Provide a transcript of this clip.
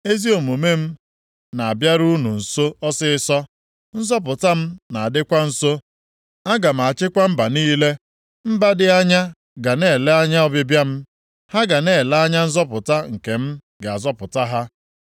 Ezi omume m na-abịaru unu nso ọsịịsọ, nzọpụta m na-adịkwa nso. Aga m achịkwa mba niile. Mba dị anya ga na-ele anya ọbịbịa m; ha ga na-ele anya nzọpụta nke m ga-azọpụta ha.